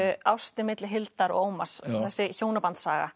ástin milli Hildar og Ómars þessi